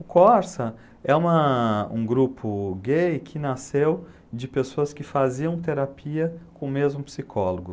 O Corsa é uma um grupo gay que nasceu de pessoas que faziam terapia com o mesmo psicólogo.